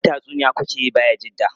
Kallon tatsuniya ku ke yi Bayajidda?